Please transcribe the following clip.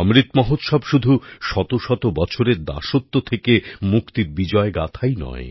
অমৃত মহোৎসব শুধু শতশত বছরের দাসত্ব থেকে মুক্তির বিজয় গাথাই নয়